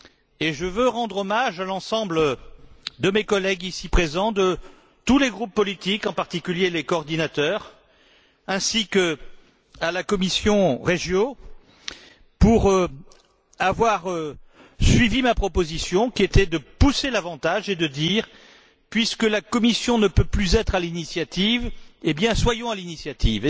Et je veux rendre hommage à l'ensemble de mes collègues ici présents, de tous les groupes politiques en particulier les coordinateurs ainsi qu'à la commission du développement régional, pour avoir suivi ma proposition, qui était de pousser l'avantage et de dire puisque la Commission ne peut plus être à l'initiative, eh bien soyons à l'initiative